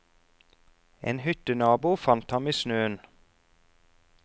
En hyttenabo fant ham i snøen.